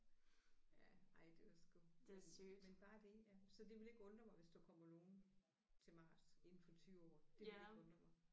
Ja ej det var sgu men men bare det ja så det ville ikke undre mig hvis der kommer nogen til Mars inden for 20 år det ville ikke undre mig